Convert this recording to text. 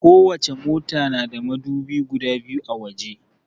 Kowace mota na da madubi guda biyu a waje.